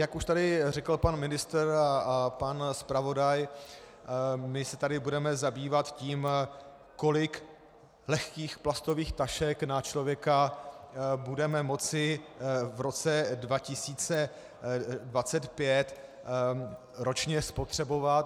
Jak už tady řekl pan ministr a pan zpravodaj, my se tady budeme zabývat tím, kolik lehkých plastových tašek na člověka budeme moci v roce 2025 ročně spotřebovat.